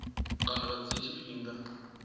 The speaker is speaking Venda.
kha vha dzhie tshifhinga vha